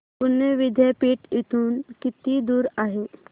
पुणे विद्यापीठ इथून किती दूर आहे